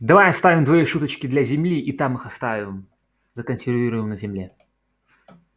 давай оставим твои шуточки для земли и там их оставим законсервируем на земле